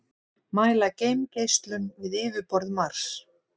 mæla geimgeislun við yfirborð mars